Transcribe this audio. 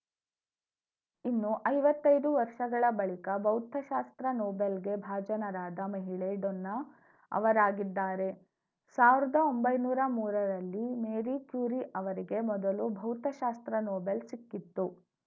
ಇನ್ನು ಐವತ್ತೈದು ವರ್ಷಗಳ ಬಳಿಕ ಭೌತಶಾಸ್ತ್ರ ನೊಬೆಲ್‌ಗೆ ಭಾಜನರಾದ ಮಹಿಳೆ ಡೊನ್ನಾ ಅವರಾಗಿದ್ದಾರೆ ಸಾವಿರ್ದ ಒಂಬೈನೂರ ಮೂರ ರಲ್ಲಿ ಮೇರಿ ಕ್ಯೂರಿ ಅವರಿಗೆ ಮೊದಲು ಭೌತಶಾಸ್ತ್ರ ನೊಬೆಲ್‌ ಸಿಕ್ಕಿತ್ತು